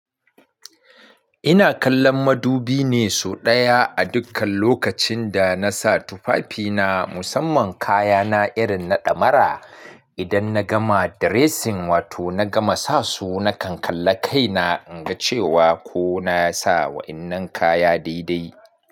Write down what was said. Ina kallon madubi ne sau ɗaya a dukkan lokacin da na sa tufafina, musamman kayana irin na ɗamara. Idan na gama dressing wato na gama sa su, na kan kalla kaina in ga cewa ko na sa wa'innan kaya daidai.